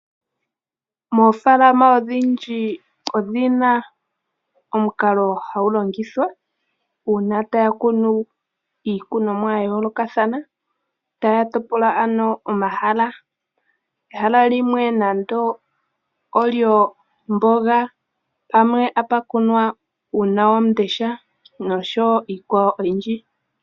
Moofaalama odhindji odhi na omukalo hagu longithwa uuna ta ya kunu iikunomwa ya yoolokathana, ta ya topola ano omahala. Ehala limwe nande olyomboga pamwe ota pu kunwa uunawamundesha nosho woo iikwawo oyindji.